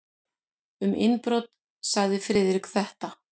Um innbrot sagði Friðrik þetta: